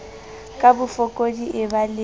ka bofokodi e ba le